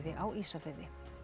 á Ísafirði